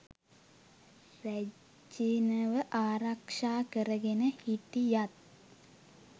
රැජිණව ආරක්ෂා කරගෙන හිටියත්